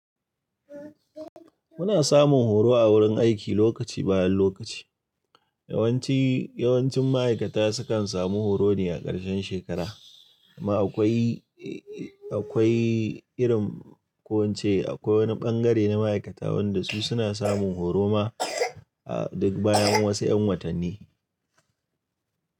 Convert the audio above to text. Muna samun horo a wurin aiki lokaci bayan lokaci. Yawanci, yawancin ma'aikata sukan samu horo ne a ƙarshen shekara. Ma akwai, akwai irin ko in ce akwai wani ɓangare na ma'aikata wanda su suna samun horo ma duk bayan wasu ƴan watanni.